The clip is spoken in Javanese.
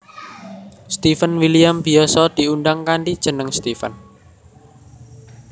Steven William biyasa diundang kanthi jeneng Stefan